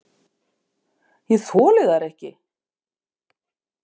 Ég þoli þær ekki.